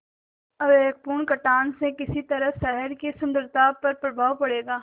अविवेकपूर्ण कटान से किस तरह शहर की सुन्दरता पर प्रभाव पड़ेगा